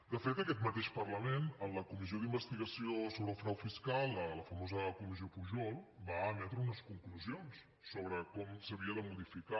de fet aquest mateix parlament en la comissió d’investigació sobre el frau fiscal la famosa comissió pujol va emetre unes conclusions sobre com s’havia de modificar